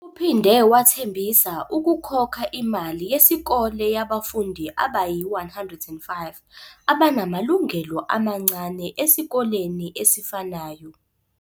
Uphinde wathembisa ukukhokha imali yesikole yabafundi abayi-105 abanamalungelo amancane esikoleni esifanayo.